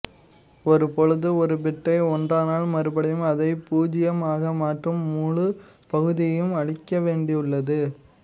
ஒருபொழுது ஒரு பிட்டை ஒன்றனால் மறுபடியும் அதை புஜியம் ஆக மாற்ற ழூழு பகுதியையும் அழிக்கவேண்டியுள்ளது